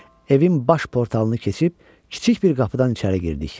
Evin baş portalını keçib kiçik bir qapıdan içəri girdik.